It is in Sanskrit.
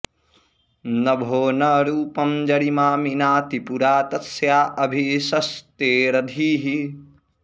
नभो॒ न रू॒पं ज॑रि॒मा मि॑नाति पु॒रा तस्या॑ अ॒भिश॑स्ते॒रधी॑हि